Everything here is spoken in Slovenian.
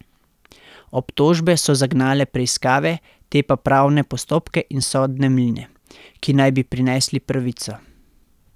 Obtožbe so zagnale preiskave, te pa pravne postopke in sodne mline, ki naj bi prinesli pravico.